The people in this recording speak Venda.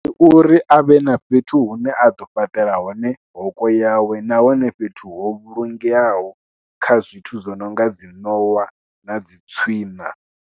Ndi uri a vhe na fhethu hune a ḓo fhaṱela hone hoko yawe nahone fhethu ho vhulungeaho kha zwithu zwo no nga dzi ṋowa na dzi tswiṋa.